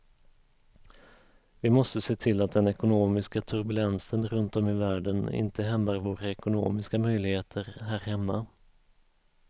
Vi måste se till att den ekonomiska turbulensen runt om i världen inte hämmar våra ekonomiska möjligheter här hemma.